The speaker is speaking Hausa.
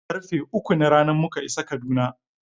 Karfe uku na rana muka isa Kaduna.